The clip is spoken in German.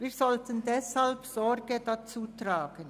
Wir sollten ihr deshalb Sorge tragen.